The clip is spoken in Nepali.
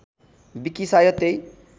विकी सायद त्यै